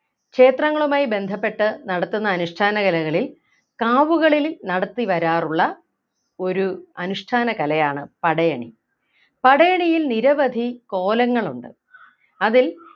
ക്ഷേത്രങ്ങളുമായി ബന്ധപ്പെട്ട് നടത്തുന്ന അനുഷ്ഠാന കലകളിൽ കാവുകളിൽ നടത്തി വരാറുള്ള ഒരു അനുഷ്ഠാനകലയാണ് പടയണി പടയണിയിൽ നിരവധി കോലങ്ങളുണ്ട് അതിൽ